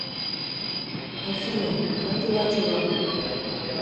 афина как дела чувак